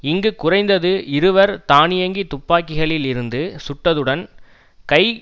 இங்கு குறைந்தது இருவர் தானியங்கி துப்பாகிகளில் இருந்து சுட்டதுடன் கை